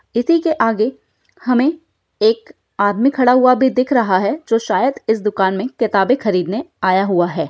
इसी के आगे हमें एक आदमी खड़ा हुआ भी दिख रहा है जो शायद इस दुकान में किताबें खरीदने आया हुआ है।